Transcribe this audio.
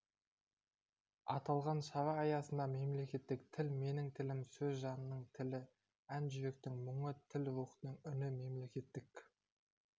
аталған шара аясында мемлекеттік тіл менің тілім сөз жанның тілі ән-жүректің мұңы тіл рухтың үні мемлекеттік